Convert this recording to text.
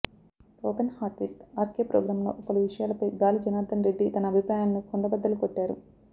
open heart with R K ప్రోగ్రాంలో పలు విషయాలపై గాలి జనార్థన్ రెడ్డి తన అభిప్రాయాలను కుండబద్దలు కొట్టారు